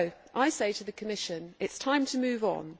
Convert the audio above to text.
I say to the Commission, it is time to move on.